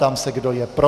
Ptám se, kdo je pro.